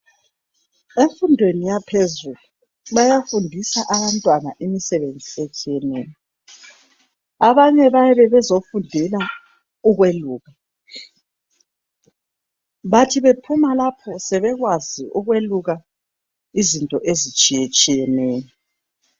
Emfundweni yaphezulu bayafundiswa abantwana imisebenzi etshiyeneyo. Abanye bayabe bezofundela ukweluka, bathi bephuma lapho sebekwazi ukweluka izinto ezitshiyetshiyeneyo.